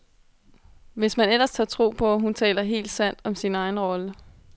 Hvis man ellers tør tro på, hun taler helt sandt om sin egen rolle.